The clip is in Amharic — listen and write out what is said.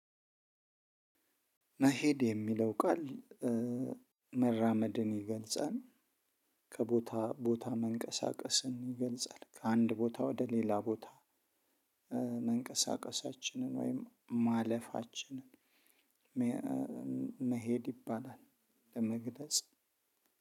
መሄድ የሚለው ቃል መራመድን ይገልጻል ከቦታ ቦታ መንቀሳቀስን ይገልጻል ከአንድ ቦታ ወደ ሌላ ቦታ መንቀሳቀሳችንን ወይም ማለፋችንን። መሄድ ይባላል። ለመግለጽ